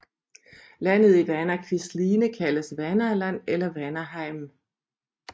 Landet i Vanakvisline kaldes Vanaland eller Vanaheim